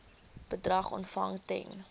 bedrag ontvang ten